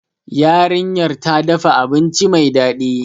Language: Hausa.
Yarinyar ta dafa abinci mai dadi